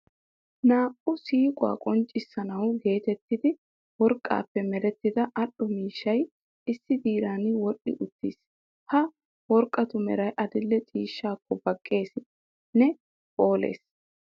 Naa"u siiquwa qonccissanawu geetetti worqqappe merettida al"o miishshay issi diran wodhdhi uttiis. Ha worqqatu Meray adil"e ciishshaakko baqqeesi nne phooles.